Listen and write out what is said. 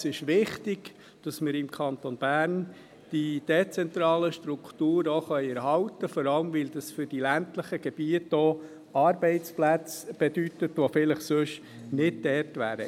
Es ist wichtig, dass wir im Kanton Bern die dezentralen Strukturen erhalten können, vor allem, weil dies für die ländlichen Gebiete auch Arbeitsplätze bedeutet, die vielleicht sonst nicht dort wären.